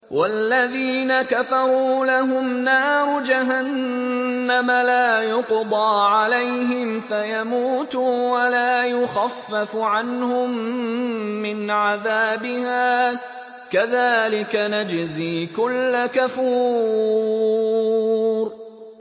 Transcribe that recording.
وَالَّذِينَ كَفَرُوا لَهُمْ نَارُ جَهَنَّمَ لَا يُقْضَىٰ عَلَيْهِمْ فَيَمُوتُوا وَلَا يُخَفَّفُ عَنْهُم مِّنْ عَذَابِهَا ۚ كَذَٰلِكَ نَجْزِي كُلَّ كَفُورٍ